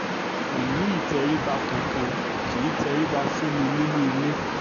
kò ní ìtẹríba kankan kì í tẹríbà fún mi nínú ilé